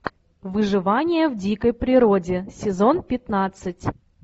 выживание в дикой природе сезон пятнадцать